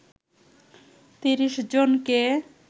৩০ জনকে